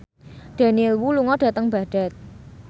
Daniel Wu lunga dhateng Baghdad